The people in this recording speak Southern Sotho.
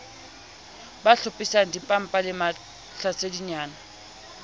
ba hlophisang dimmapa le mahlasedinyana